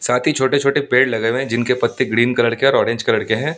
साथ ही छोटे-छोटे पेड़ लगे हुए हैं जिनके पत्ते ग्रीन कलर के और ऑरेंज कलर के हैं।